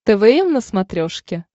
твм на смотрешке